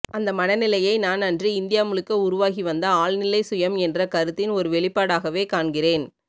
அந்த மனநிலையை நான் அன்று இந்தியா முழுக்க உருவாகிவந்த ஆழ்நிலைசுயம் என்ற கருத்தின் ஒரு வெளிப்பாடாகவே காண்கிறேன்